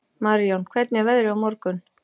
Marijón, hvernig er veðrið á morgun?